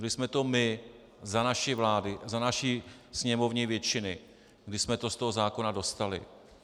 Byli jsme to my za naší vlády, za naší sněmovní většiny, kdy jsme to z toho zákona dostali.